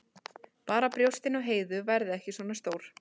Bara að brjóstin á Heiðu verði ekki svona stór.